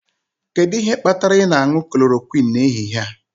Kedu ihe kpatara ị na-aṅụ klorokwịnụ n'ehihie a?